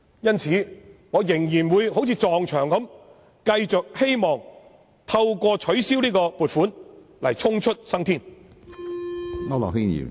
因此，我仍然會好像把頭撞向牆壁般，繼續試圖透過建議取消這項撥款預算開支來逃出生天。